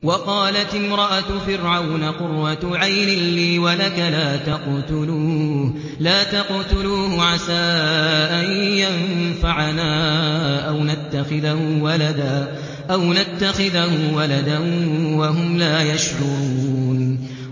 وَقَالَتِ امْرَأَتُ فِرْعَوْنَ قُرَّتُ عَيْنٍ لِّي وَلَكَ ۖ لَا تَقْتُلُوهُ عَسَىٰ أَن يَنفَعَنَا أَوْ نَتَّخِذَهُ وَلَدًا وَهُمْ لَا يَشْعُرُونَ